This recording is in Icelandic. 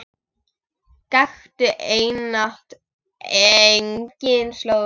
Gakktu einatt eigin slóð.